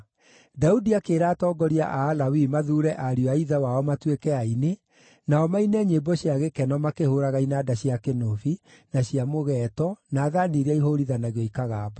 Daudi akĩĩra atongoria a Alawii mathuure ariũ a ithe wao matuĩke aini, nao maine nyĩmbo cia gĩkeno makĩhũũraga inanda cia kĩnũbi, na cia mũgeeto, na thaani iria ihũũrithanagio ikagamba.